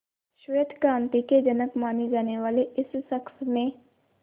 श्वेत क्रांति के जनक माने जाने वाले इस शख्स ने